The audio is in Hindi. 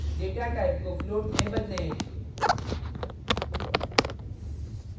data type को float में बदलें